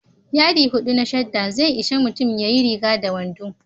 Yadi hudu na shadda zai ishi mutum ya yi riga da wando.